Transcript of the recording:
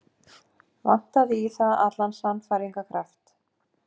Vantaði í það allan sannfæringarkraft.